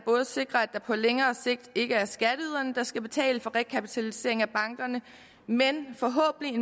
sikrer at det på længere sigt ikke er skatteyderne der skal betale for rekapitalisering af bankerne men forhåbentlig